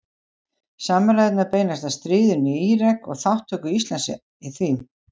Samræðurnar beinast að stríðinu í Írak og þátttöku Íslands í því.